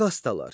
Kastalar.